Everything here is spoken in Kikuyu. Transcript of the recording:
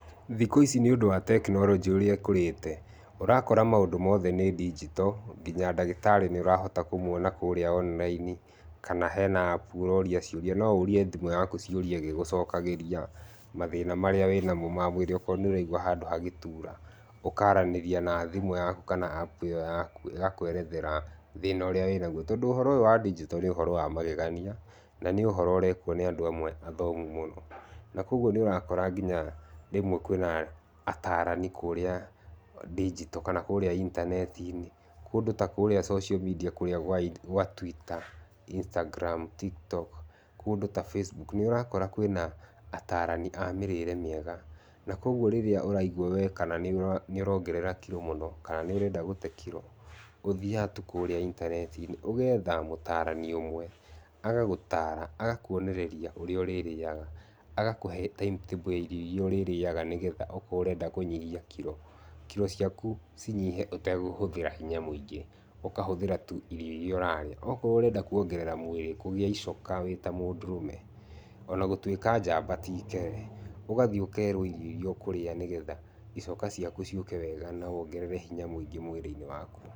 Thikũ ici nĩ ũndũ wa technology ũrĩa ĩkũrĩte, ũrakora maũndu mothe nĩ digital, nginya ndagĩtarĩ nĩ ũrahota kũmwona kũrĩa online. Kana hena app ũrooria ciũria. No ũũrie thimũ yaku ciũria ĩgĩgũcokagĩria, mathĩna marĩa wĩnamo ma mwĩrĩ, okorwo nĩ ũraigua handũ hagĩtura, ũkaaranĩria na thimũ yaku kana app ĩyo yaku, ĩgakũerethera thĩna ũrĩa wĩna guo. Tondũ ũhoro ũyũ wa digital nĩ ũhoro wa magegania na nĩ ũhoro ũreekwo nĩ andũ amwe athomu mũno na kwoguo, nĩ ũrakora nginya rĩmwe kwĩna ataarani kũrĩa digital kana kũrĩa intanet-inĩ. Kũndũ ta kũrĩa social media kũrĩa gwa Twitter, Instagram, TikTok, kũndũ ta Facebook, nĩ ũrakora kwĩna ataarani a mĩrĩĩre mĩega. Na kwoguo rĩrĩa ũraiguo we kana nĩ ũroongerera kiro mũno kana nĩ ũrenda gũte kiro, ũthiaga tu kũrĩa intanet-inĩ ũgeetha mũtaarani ũmwe, agagũtaara, agakũonereria ũrĩa ũrĩrĩaga agakũhe timetable ya irio iria ũrirĩaga nĩgetha okorwo ũrenda kũnyihia kiro, kiro ciaku cinyihe ũtegũhũthĩra hinya mũingĩ. Ũkahũthĩra tu irio iria ũrarĩa. Okorwo ũrenda kũongerera mwĩrĩ, kũgĩa icoka wĩ ta mũndũrũme, o na gũtuĩka njamba ti ikere, ũgathiĩ ũkeerwo irio iria ũkũrĩa nĩgetha icoka ciaku ciũke wega na wongerere hinya mũingĩ mwĩrĩ-inĩ waku.